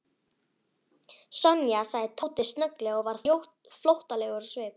Sonja sagði Tóti snögglega og varð flóttalegur á svip.